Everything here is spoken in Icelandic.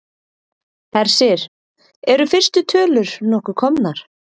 Hersir, eru fyrstu tölur nokkuð komnar?